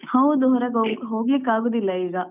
ಹೌದು ಹೊರಗೆ ಹೋಗ್ಲಿಕ್ಕೆ ಅಗುದಿಲ್ಲಾ